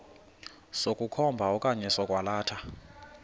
sokukhomba okanye sokwalatha